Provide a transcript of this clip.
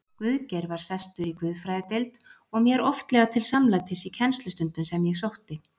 Guðgeir var sestur í guðfræðideild og mér oftlega til samlætis í kennslustundum sem ég sótti.